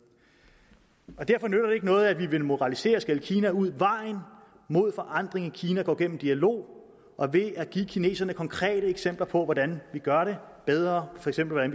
derfor nytter det ikke noget at vi vil moralisere og skælde kina ud vejen mod forandring i kina går gennem dialog og ved at give kineserne konkrete eksempler på hvordan vi gør det bedre for eksempel